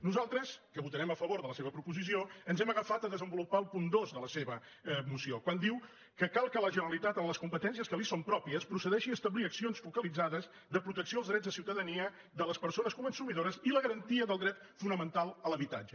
nosaltres que votarem a favor de la seva proposició ens hem agafat a desenvolupar el punt dos de la seva moció quan diu que cal que la generalitat en les competències que li són pròpies procedeixi a establir accions focalitzades de protecció als drets de ciutadania de les persones consumidores i la garantia del dret fonamental a l’habitatge